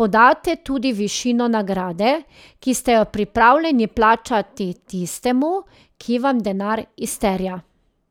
podate tudi višino nagrade, ki ste jo pripravljeni plačati tistemu, ki vam denar izterja.